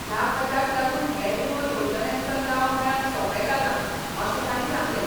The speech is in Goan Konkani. ह्या खात्याक लागून हेर विमो येवजण्यांचो लाव मेळप सोपें जालां अशें तांणी सांगलें.